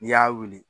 N'i y'a wuli